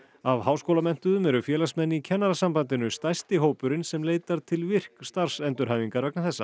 af háskólamenntuðum eru félagsmenn í Kennarasambandinu stærsti hópurinn sem leitar til virk starfsendurhæfingar vegna þessa